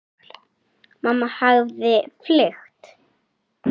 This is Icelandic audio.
Mamma hafði fylgt